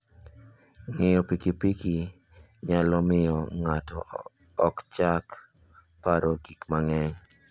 Ng'iyo pikipiki nyalo miyo ng'ato ochak paro gik manyien.